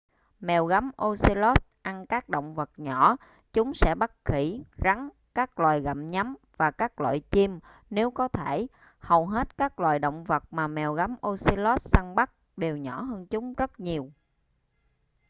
mèo gấm ocelots ăn các động vật nhỏ chúng sẽ bắt khỉ rắn các loài gặm nhấm và các loại chim nếu có thể hầu hết các loài động vật mà mèo gấm ocelot săn bắt đều nhỏ hơn chúng rất nhiều